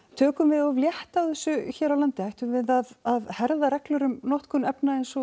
tökum við of létt á þessu hér á landi ætti að herða reglur um notkun efna eins og